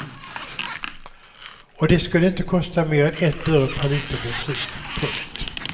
Och det skulle inte kosta mer än ett öre per liter bensin. punkt